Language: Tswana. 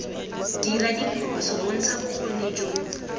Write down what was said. dira diphoso bontsha bokgoni jo